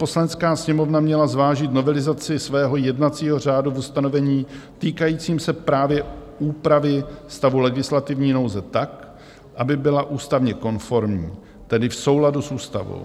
Poslanecká sněmovna měla zvážit novelizaci svého jednacího řádu v ustanovení týkajícím se právě úpravy stavu legislativní nouze tak, aby byla ústavně konformní, tedy v souladu s ústavou.